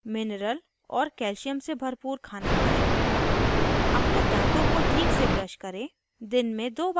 फिर दन्त चिकित्सक इस तरह के दर्द से बचने के लिए सावधानियाँ बताता है